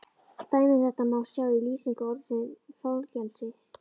Dæmi um þetta má sjá í lýsingu orðsins fangelsi: